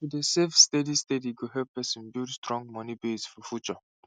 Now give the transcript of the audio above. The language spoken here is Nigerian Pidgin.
to dey save steady steady go help person build strong moni base for future